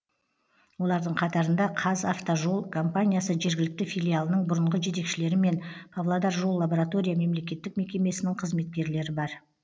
олардың қатарында қазавтожол компаниясы жергілікті филиалының бұрынғы жетекшілері мен павлодар жол лаборатория мемлекеттік мекемесінің қызметкерлері бар